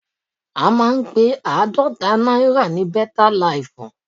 A máa ń pe àádọ́ta náírà ní bẹ́tá laìfù.